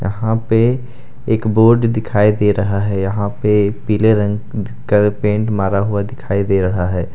यहाँ पे एक बोर्ड दिखाई दे रहा है यहां पर पीले रंग का पेंट मारा हुआ दिखाई दे रहा है।